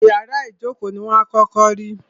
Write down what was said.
Ìyárá ìjókó ní wà à kọ́kọ́ rí.